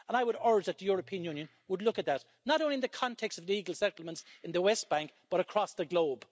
And I would urge that the European Union would look at that, not only in the context of illegal settlements in the West Bank, but across the globe.